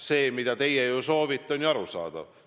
See, mida teie soovite, on ju arusaadav.